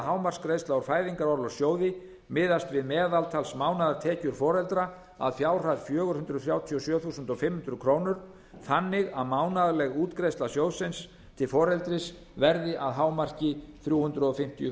hámarksgreiðsla úr fæðingarorlofssjóði miðist við meðaltalsmánaðartekjur foreldra að fjárhæð fjögur hundruð þrjátíu og sjö þúsund fimm hundruð krónur þannig að mánaðarleg útgreiðsla sjóðsins til foreldris verði að hámarki þrjú hundruð fimmtíu